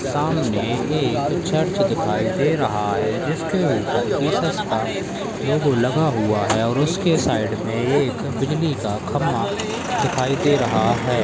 सामने एक चर्च दिखाई दे रहा है जिसके ऊपर एक स्टार भी लगा हुआ है और उसके साइड मे एक बिजली का खंबा दिखाई दे रहा है।